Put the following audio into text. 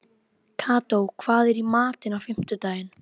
Kató, hvað er í matinn á fimmtudaginn?